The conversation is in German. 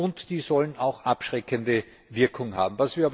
Und die sollen auch abschreckende Wirkung haben.